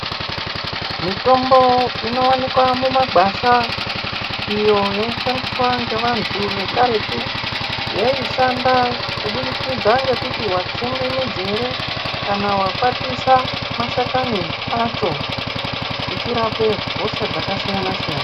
Mitombo inowanikwa mumagwasha iyo yaishandiswa ngevantu vekaretu yaishanda kubudikidza ngekuti watsenge midzi ere kana wakwatisa mashakani acho ichirape hosha dzakasiyana siyana.